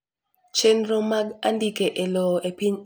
Chenro mag andike elowo epiny Ingereza oduok piny neyot mar ndikruok.